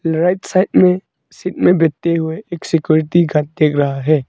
Right side में seat में बैठते हुए एक सिक्योरिटी गार्ड दिख रहा है।